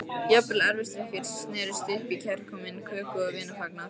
Jafnvel erfisdrykkjur snerust upp í kærkominn köku- og vinafagnað.